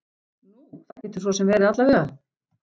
Nú, það getur svo sem verið alla vega.